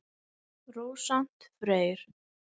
Rósant Freyr.